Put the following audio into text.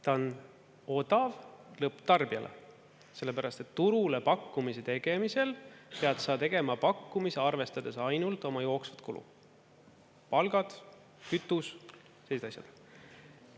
Ta on odav lõpptarbijale, sellepärast et turule pakkumise tegemisel pead sa tegema pakkumise arvestades ainult oma jooksvad kulud – palgad, kütus, teised asjad.